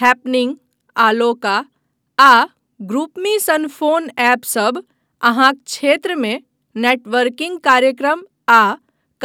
happening, अलोका आ ग्रुपमी सन फोन ऐपसभ अहाँक क्षेत्रमे नेटवर्किंग कार्यक्रम आ